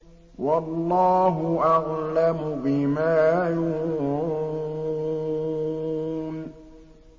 وَاللَّهُ أَعْلَمُ بِمَا يُوعُونَ